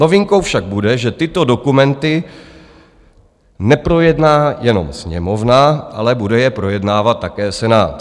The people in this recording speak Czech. Novinkou však bude, že tyto dokumenty neprojedná jenom Sněmovna, ale bude je projednávat také Senát.